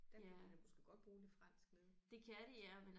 Der kan du da måske godt bruge lidt fransk nede